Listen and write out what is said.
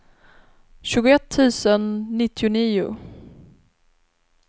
tjugoett tusen nittionio